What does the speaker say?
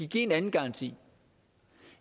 give en anden garanti